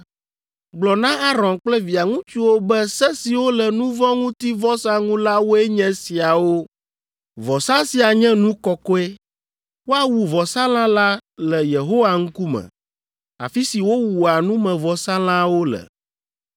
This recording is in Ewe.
“Gblɔ na Aron kple via ŋutsuwo be se siwo le nu vɔ̃ ŋuti vɔsa ŋu la woe nye esiawo. “Vɔsa sia nye nu kɔkɔe. Woawu vɔsalã la le Yehowa ŋkume, afi si wowua numevɔsalãwo le.